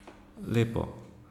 Lepo.